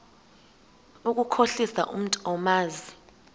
ukukhohlisa umntu omazi